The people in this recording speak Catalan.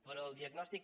però el diagnòstic